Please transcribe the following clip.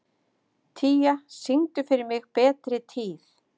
Tía, syngdu fyrir mig „Betri tíð“.